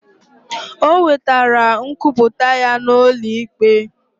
Ọ wetere nkwuputa ya na ụlọ ikpe.